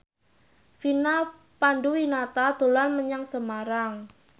Vina Panduwinata dolan menyang Semarang